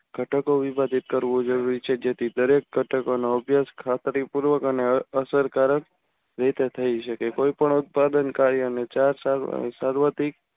ઘટકો વિભાજીત કરવું જરૂરી છે. જેથી દરેક ઘટકોનો અભ્યાસ ખાતરીપૂર્વક અને અસરકારક રીતે થઈ શકે. કોઈ પણ ઉત્પાદન કાર્ય અને ચાર સાલ સાર્વતીક